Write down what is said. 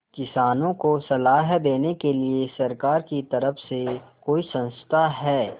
किसानों को सलाह देने के लिए सरकार की तरफ से कोई संस्था है